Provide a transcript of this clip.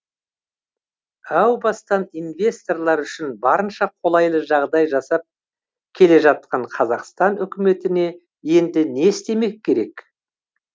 әу бастан инвесторлар үшін барынша қолайлы жағдай жасап келе жатқан қазақстан үкіметіне енді не істемек керек